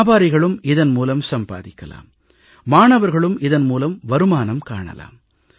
வியாபாரிகளும் இதன் மூலம் சம்பாதிக்கலாம் மாணவர்களும் இதன் மூலம் வருமானம் காணலாம்